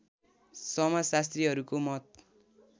समाजशास्त्रीहरूको मत